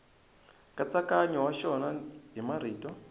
nkatsakanyo wa xona hi marito